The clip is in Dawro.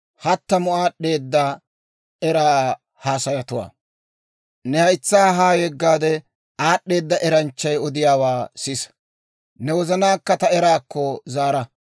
Ne haytsaa haa yeggaade, aad'd'eeda eranchchay odiyaawaa sisa; ne wozanaakka ta eraakko zaara.